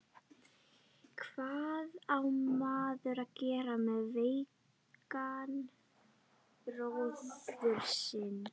Hvað á maður að gera með veikan bróður sinn?